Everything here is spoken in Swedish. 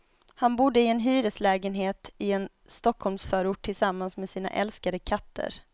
Han bodde i en hyreslägenhet i en stockholmsförort tillsammans med sina älskade katter.